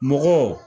Mɔgɔw